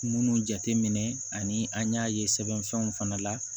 Munnu jateminɛ ani an y'a ye sɛbɛnfɛnw fana la